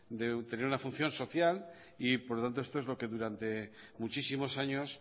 de tener una función social y por lo tanto esto es lo que durante muchísimos años